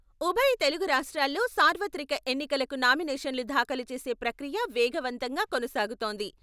ఉభయ తెలుగు రాష్ట్రాల్లో సార్వత్రిక ఎన్నికలకు నామినేషన్లు దాఖలు చేసే ప్రక్రియ వేగవంతంగా కొనసాగుతోంది.